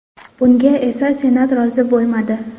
Bunga esa Senat rozi bo‘lmadi.